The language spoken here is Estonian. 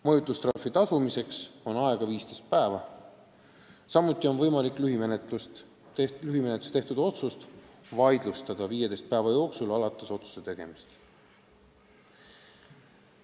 Mõjutustrahvi tasumiseks on aega 15 päeva, samuti on võimalik lühimenetluses tehtud otsust vaidlustada 15 päeva jooksul alates otsuse tegemisest.